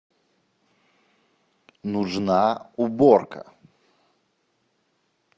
нужна уборка